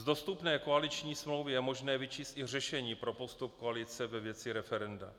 Z dostupné koaliční smlouvy je možné vyčíst i řešení pro postup koalice ve věci referenda,